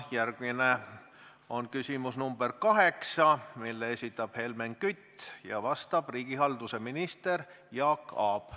Järgmine on küsimus nr 8, mille esitab Helmen Kütt ja millele vastab riigihalduse minister Jaak Aab.